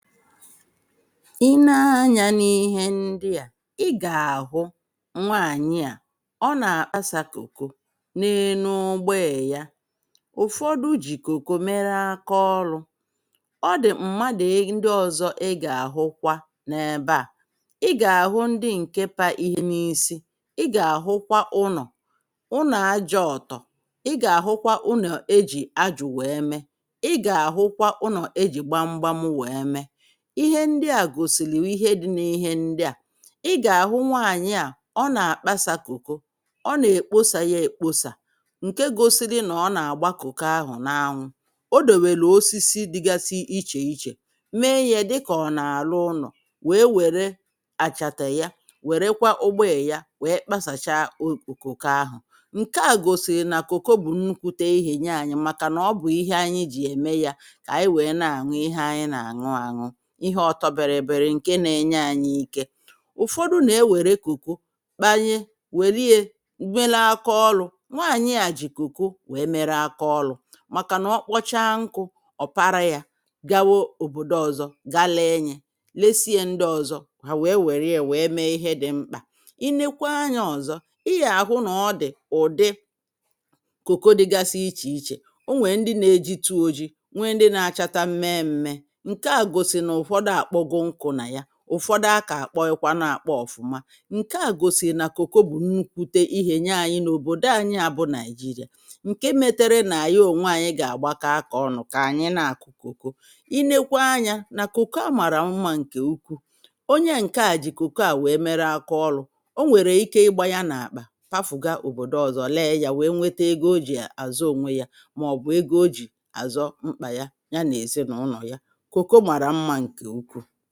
ị ne anyȧ n’ihe ndị à, ị gà-àhụ nwaànyị à ọ nà-àkpasà kòko n’enu ụgboè ya, ụ̀fọdụ jì kòko mere akaọlụ̇, ọ dị̀ m̀madụ̀ ndị ọ̀zọ ị gà-àhụkwa n’ebe à, gà-àhụ ndị ǹke pa ihe n’isi, ị gà-àhụkwa ụnọ̀, ụnọ̀ aja ọ̀tọ. ị gà-àhụkwa ụnọ̀ ejì ajụ wèe mee. ị gà-àhụkwa ụnọ̀ ejì gbamgbam wèe mee. ihe ndi à gòsìlì ihe di̇ n’ihe ndi à. i gà-àhụ nwaànyị à ọ nà-àkpasȧ kokò, ọ nà-èkposà yȧ èkposà ǹke gȯsi̇ri̇ nà ọ nà-àgba kòko ahụ̀ n’anwụ. Ọ dewelu osisi dịgasị ichè ichè, mee yȧ dịkà ọ nà-àrụ ụnọ̀, wèe wère àchàtà ya wère kwa ụgbọè ya wèe kpasàcha o kòko ahụ̀. ǹke à gòsìrì nà kòko bụ̀ nnukwute ihè nye anyị̇ màkà nà ọ bụ̀ ihe anyị ji ème yȧ kà ànyị wèe na-àṅụ ihe anyị nà àṅụ àṅụ. ihe ọtọ bịrị bịri ǹke na-enye ànyị ike. Ụfọdụ nà-ewère koko kpanye, wèlie mere áká olu̇. Nwaànyị à jì koko wee mere aka olu̇ màkà nà ọkpọcha nkụ̇ ọ̀para yȧ gawa òbòdo ọ̀zọ ga lėe nyė, lesie ndị ọ̀zọ hà wèe wèrie wèe mee ihe dị mkpà. i nekwaa anyȧ ọ̀zọ ị yà àhụ nà ọ dị̀ ụ̀dị kòko dịgasi ichè ichè ọ nwèè ndị na-ejitu oji̇, nwee ndị na-achata mee mee. Nkè a gosili ná ụ̀fọdụ àkpọ goo nkụ̇ nà ya, ụ̀fọdụ akà àkpọghi kwa nà-àkpọ ọ̀fụma, nke à gòsìrì nà kòko bụ̀ nnukwute ihè nye anyị n’òbòdo ànyị à bụ Nàị̀jịrị̀à. Nke metere nà-àye ònwe ànyị gà-àgbakọ akọ̀ ọnụ kà ànyị na-àkụ kòko. Ị nekwa anyȧ nà kòko a màrà mmȧ ǹkè ukwu. onye à ǹke à jì kòko à nwèe mere akọ ọlụ̇. o nwèrè ike ịgba ya n’àkpà pafu̇ga òbòdo ọzọ, lee yȧ nwèe nwete ego ojì àzọ ònwe yȧ màọ̀bụ ego ojì àzọ mkpà ya, ya nà-èzi ná ụnọ̀ ya. Koko màrà mmá nkè ukwuu.